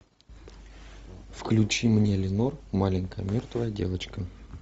включи мне ленор маленькая мертвая девочка